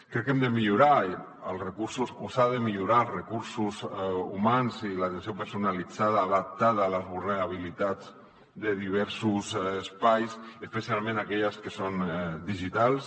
crec que hem de millorar els recursos o s’han de millorar els recursos humans i l’atenció personalitzada adaptada a les vulnerabilitats de diversos espais especialment a aquelles que són digitals